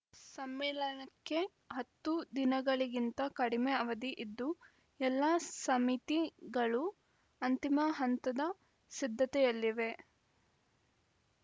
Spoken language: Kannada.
ಸಮ್ಮೇಳನಕ್ಕೆ ಹತ್ತು ದಿನಗಳಿಗಿಂತ ಕಡಿಮೆ ಅವಧಿ ಇದ್ದು ಎಲ್ಲ ಸಮಿತಿಗಳು ಅಂತಿಮ ಹಂತದ ಸಿದ್ಧತೆಯಲ್ಲಿವೆ